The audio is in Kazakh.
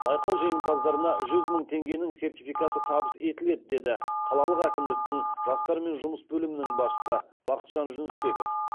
байқау жеңімпаздарына жүз мың теңгенің сертификаты табыс етіледі деді қалалық әкімдіктің жастармен жұмыс бөлімінің басшысы бақытжан жүнісбеков